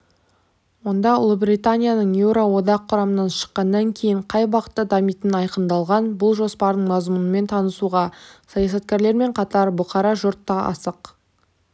онда ұлыбританияның еуроодақ құрамынан шыққаннан кейін қай бағытта дамитыны айқындалған бұл жоспардың мазмұнымен танысуға саясаткерлермен қатар бұқара жұрт та асық